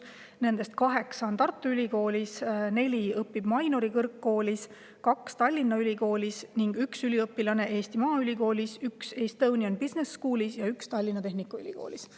Nendest 8 õpib Tartu Ülikoolis, 4 Mainori kõrgkoolis, 2 Tallinna Ülikoolis, 1 Eesti Maaülikoolis, 1 Estonian Business Schoolis ja 1 Tallinna Tehnikaülikoolis.